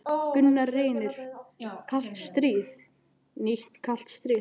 Gunnar Reynir: Kalt stríð, nýtt kalt stríð?